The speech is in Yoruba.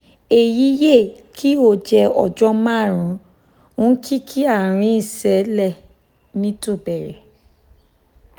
èyí yẹ̀ kí ó jẹ́ ọjọ́ márùn ún kí kí àárín ìṣẹ̀lẹ̀ mi tó bẹ̀rẹ̀